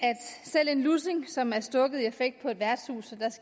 selv en lussing som er stukket i affekt på et værtshus